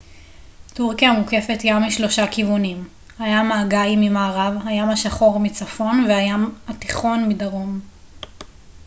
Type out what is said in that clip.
טורקיה מוקפת ים משלושה כיוונים הים האגאי ממערב הים השחור מצפון והים התיכון מדרום